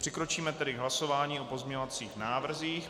Přikročíme tedy k hlasování o pozměňovacích návrzích.